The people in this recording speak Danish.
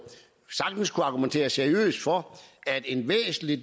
sagtens kunne argumentere seriøst for at en væsentlig